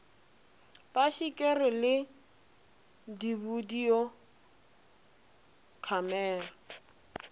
ba šikere le dibidio khamera